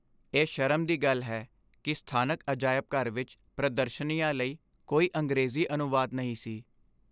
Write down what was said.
ਇਹ ਸ਼ਰਮ ਦੀ ਗੱਲ ਹੈ ਕਿ ਸਥਾਨਕ ਅਜਾਇਬ ਘਰ ਵਿੱਚ ਪ੍ਰਦਰਸ਼ਨੀਆਂ ਲਈ ਕੋਈ ਅੰਗਰੇਜ਼ੀ ਅਨੁਵਾਦ ਨਹੀਂ ਸੀ।